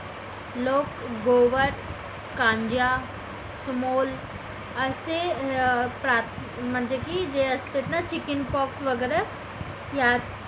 लोक गोवर कांजा असे म्हणजे की जे असतात ना chicken pox वगैरे